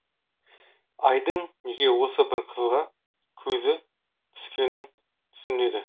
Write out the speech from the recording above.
айдың неге осы бір қызға көзі түскенің түсінеді